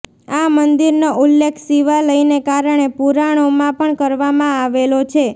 આ મંદિર નો ઉલ્લેખ શિવાલયને કારણે પુરાણોમાં પણ કરવામાં આવેલો છે